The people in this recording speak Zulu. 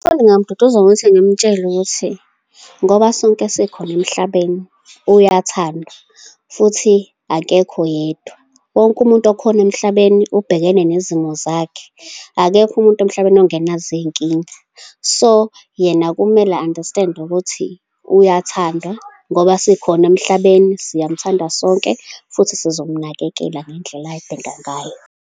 Umfundi ngingamduduza ngokuthi ngimtshele ukuthi, ngoba sonke sikhona emhlabeni, uyathandwa, futhi akekho yedwa. Wonke umuntu okhona emhlabeni ubhekene nezimo zakhe. Akekho umuntu emhlabeni ongenazo iy'nkinga. So, yena kumele a-understand-e ukuthi uyathandwa, ngoba sikhona emhlabeni, siyamthanda sonke, futhi sizomnakekela ngendlela ay'dinga ngayo.